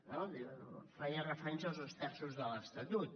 no feia referència als dos terços de l’estatut